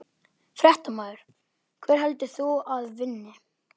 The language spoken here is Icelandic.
Fréttamaður: Hver heldur þú að vinni?